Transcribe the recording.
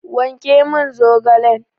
Wanke min zaogalen!